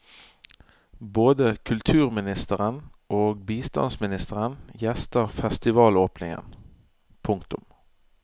Både kulturministeren og bistandsministeren gjester festivalåpningen. punktum